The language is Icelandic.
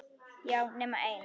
Já, nema ein.